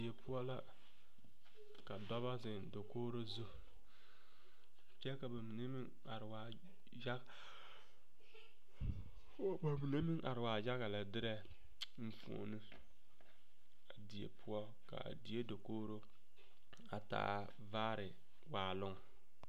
Die poɔ la ka dɔbɔ zeŋ dakogri zu kyɛ ka ba mine are waa yaga lɛ derɛ enfuoni a die poɔ ka a die dakogri a taa vaare waaloŋ.